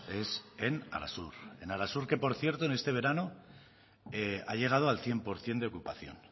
es en arasur en arasur que por cierto en este verano ha llegado al cien por ciento de ocupación